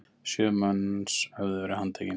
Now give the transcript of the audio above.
Sjö manns höfðu verið handtekin!